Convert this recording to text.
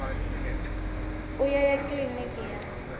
u ya ya kiliniki ya